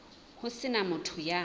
ho se na motho ya